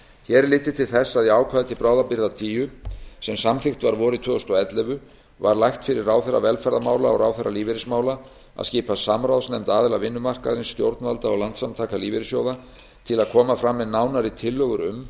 hér er litið til þess að í ákvæði til bráðabirgða tíu sem samþykkt var vorið tvö þúsund og ellefu var lagt fyrir ráðherra velferðarmála og ráðherra lífeyrismála að skipa samráðsnefnd aðila vinnumarkaðarins stjórnvalda og landssamtaka lífeyrissjóða til að koma fram með nánari tillögur um